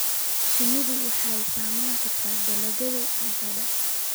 Shinnidu waxay saamayn kartaa dalagga cuntada.